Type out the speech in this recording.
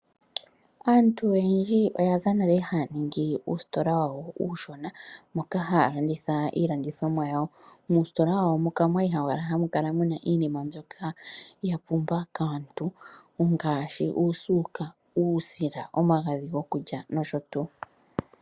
Aantu oyendji oya za nale haya ningi uusitola wawo uushona moka haya landitha iilandithomwa yawo. Muusitola wawo omwa li hamu kala mu na iinima mbyoka ya pumbiwa kaantu ngaashi uusuka, uusila, omagadhi gokulya nosho tuu.